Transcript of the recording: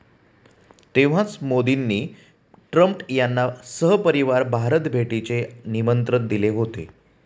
तेव्हाच मोदींनी ट्रम्प यांना सहपरिवार भारत भेटीचे निमंत्रण दिले होते.